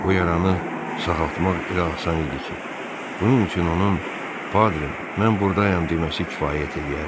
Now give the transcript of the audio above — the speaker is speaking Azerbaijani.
Bu yaranı sağaltmaq elə asan idi ki, bunun üçün onun "Padre, mən burdayam" deməsi kifayət eləyərdi.